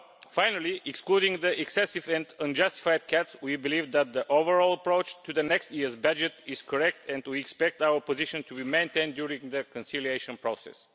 Finally, excluding the excessive and unjustified cuts, we believe that the overall approach to next year's budget is correct and we expect our position to be maintained during the conciliation process.